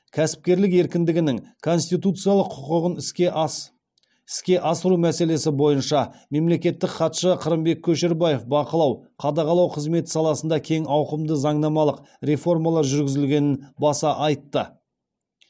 кәсіпкерлік еркіндігінің конституциялық құқығын іске асыру мәселесі бойынша мемлекеттік хатшы қырымбек көшербаев бақылау қадағалау қызметі саласында кең ауқымды заңнамалық реформалар жүргізілгенін баса айтты